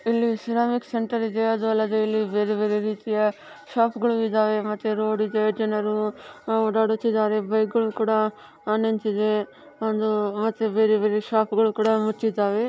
ಇಲ್ಲಿ ceramic centre ಇದೆ. ಅದು ಅಲ್ಲದೆ ಇಲ್ಲಿ ಬೇರೆ ಬೇರೆ ರೀತಿಯ ಶಾಪ್ಗಳು ಇದಾವೆ ಮತ್ತೆ ರೋಡ್ ಇದೆ ಜನರು ಆಹ್ ಓಡಾಡುತ್ತಿದ್ದಾರೆ. ಬೈಕ್ಗಳು ಕೂಡ ನಿಂತಿದೆ ಒಂದು ಮತ್ತೆ ಬೇರೆ ಬೇರೆ ಶಾಪ್ಗಳು ಕೂಡ ಮುಚ್ಚಿದವೇ.